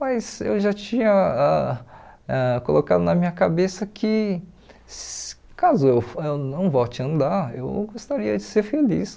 Mas eu já tinha ãh ãh colocado na minha cabeça que se caso eu eu não volte a andar, eu gostaria de ser feliz.